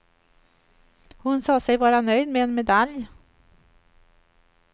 Hon sa sig vara nöjd med en medalj.